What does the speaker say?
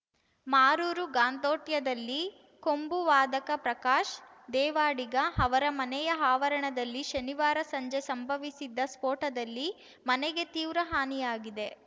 ಮಾರೂರು ಗಾಂದೊಟ್ಯದಲ್ಲಿ ಕೊಂಬು ವಾದಕ ಪ್ರಕಾಶ್ ದೇವಾಡಿಗ ಅವರ ಮನೆಯ ಆವರಣದಲ್ಲಿ ಶನಿವಾರ ಸಂಜೆ ಸಂಭವಿಸಿದ ಸ್ಫೋಟದಲ್ಲಿ ಮನೆಗೆ ತೀವ್ರ ಹಾನಿಯಾಗಿದೆ